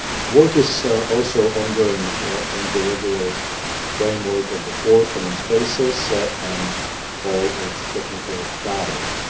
Work is also ongoing in the regular framework of the Four Common Spaces and all its technical dialogues.